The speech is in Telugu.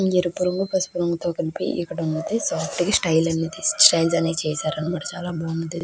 ఎరుపు రంగు పసుపు రంగు కలిపి ఇక్కడ ఉంది. సాఫ్ట్ గ స్టైల్ గ చేశారు చాలా బాగుంది.